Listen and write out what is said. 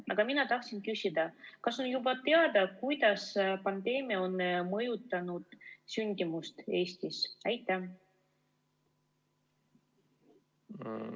Aga mina tahan küsida, kas on juba teada, kuidas pandeemia on mõjutanud sündimust Eestis.